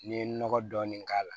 N'i ye nɔgɔ dɔɔni k'a la